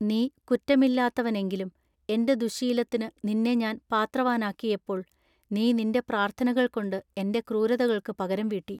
നീ കുറ്റമില്ലാത്തവനെങ്കിലും എന്റെ ദുശ്ശീലത്തിനു നിന്നെ ഞാൻ പാത്ര വാനാക്കിയപ്പോൾ നീ നിന്റെ പ്രാർത്ഥനകൾകൊണ്ട് എന്റെ ക്രൂരതകൾക്കു പകരം വീട്ടി.